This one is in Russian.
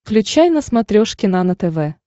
включай на смотрешке нано тв